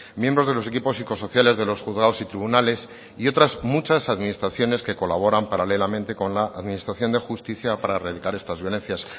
miembros de los equipos psicosociales de los juzgados y tribunales y otras muchas administraciones que colaboran paralelamente con la administración de justicia para erradicar estas violencias